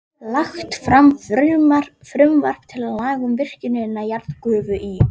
Lagt fram frumvarp til laga um virkjun jarðgufu í